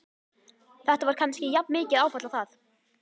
Þetta var kannski jafnmikið áfall og það.